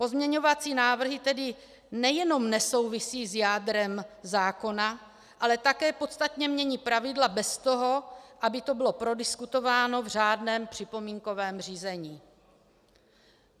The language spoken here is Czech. Pozměňovací návrhy tedy nejenom nesouvisejí s jádrem zákona, ale také podstatně mění pravidla bez toho, aby to bylo prodiskutováno v řádném připomínkovém řízení.